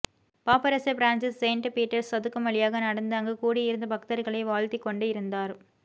பாப்பரசர் Francis Saint Peter's சதுக்கம் வழியாக நடந்து அங்கு கூடியிருந்த பக்தர்களை வாழ்த்திக் கொண்டு இருந்தார்